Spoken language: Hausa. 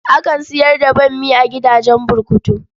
Akan sayar da bammi a gidajen burkutu.